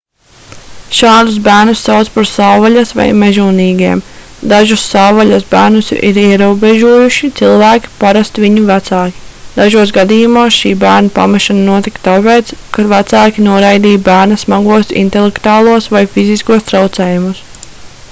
šādus bērnus sauc par savvaļas vai mežonīgiem. dažus savvaļas bērnus ir ierobežojuši cilvēki parasti viņu vecāki; dažos gadījumos šī bērna pamešana notika tāpēc ka vecāki noraidīja bērna smagos intelektuālos vai fiziskos traucējumus